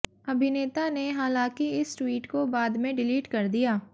अभिनेता ने हालांकि इस ट्वीट को बाद में डिलीट कर दिया